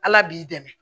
Ala b'i dɛmɛ